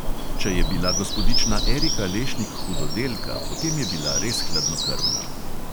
Če je bila gospodična erika lešnik hudodelka, potem je bila res hladnokrvna.